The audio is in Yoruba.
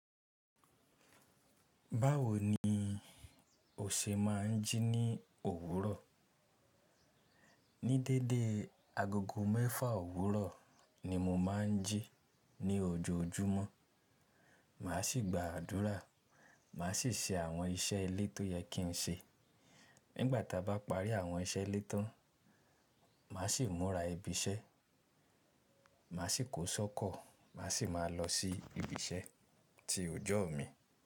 Báwo ni o ṣe máa ń jí ní òwúrọ̀? Ní dédé, agogo mẹ́fà òwúrọ̀ ni mo máa ń jí ní ojoojúmọ́. Màá sì gba àdúrà, màá sì ṣe àwọn iṣẹ́ ilé tó yẹ kí n ṣe. Nígbà ta bá parí àwọn iṣẹ́ ilé tán, màá sì múra ibi iṣẹ́, màá sì kó ṣ'ọ́kọ̀, màá sì máa lọ sí ibi iṣẹ́ ti ọjọ́ mi.